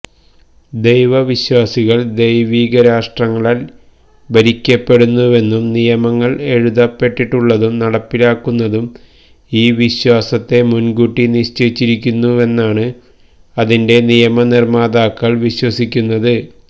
ദൈവ വിശ്വാസികൾ ദൈവികരാഷ്ട്രങ്ങളാൽ ഭരിക്കപ്പെടുന്നുവെന്നും നിയമങ്ങൾ എഴുതപ്പെട്ടിട്ടുള്ളതും നടപ്പിലാക്കുന്നതും ഈ വിശ്വാസത്തെ മുൻകൂട്ടി നിശ്ചയിച്ചിരിക്കുന്നുവെന്നാണ് അതിന്റെ നിയമനിർമാതാക്കൾ വിശ്വസിക്കുന്നത്